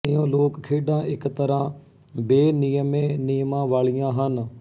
ਇਉਂ ਲੋਕਖੇਡਾਂ ਇੱਕ ਤਰ੍ਹਾਂ ਬੇਨਿਯਮੇ ਨਿਯਮਾਂ ਵਾਲੀਆਂ ਹਨ